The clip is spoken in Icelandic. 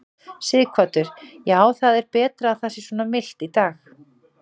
Sighvatur: Já, það er betra að það sé svona milt í dag?